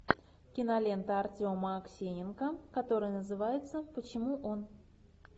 кинолента артема аксененко которая называется почему он